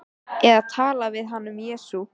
Eða tala við hann um Jesú.